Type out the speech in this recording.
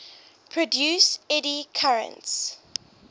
produce eddy currents